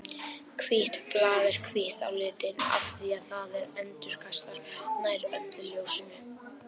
Hvítt blað er hvítt á litinn af því að það endurkastar nær öllu ljósinu.